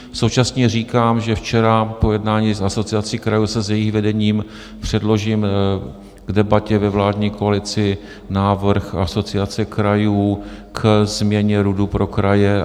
Současně říkám, že včera po jednání s Asociací krajů, s jejich vedením, předložím k debatě ve vládní koalici návrh Asociace krajů k změně RUDu pro kraje...